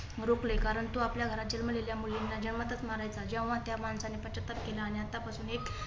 रोखले. कारण तो आपल्या घरात जन्मलेल्या मुलींना जन्मताच मारायचा. जेव्हा त्या माणसाने पच्छाताप केला आणि आतापासून एक